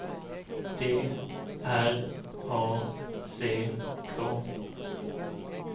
D R A C K